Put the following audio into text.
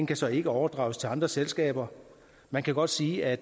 kan så ikke overdrages til andre selskaber man kan godt sige at